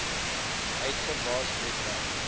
uitgawes let wel